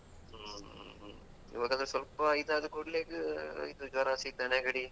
ಹ್ಮ್ ಹ್ಮ್ ಹ್ಮ್ ಇವಾಗಾದ್ರು ಸ್ವಲ್ಪ ಇದಾದ್ ಕೂಡ್ಲೆ ಗ್ ಇದ್ ಜ್ವರ ಶೀತ ನೆಗಡಿ.